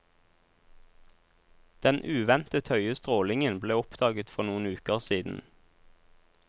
Den uventet høye strålingen ble oppdaget for noen uker siden.